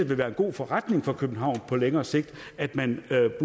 vil være en god forretning for københavn på længere sigt at man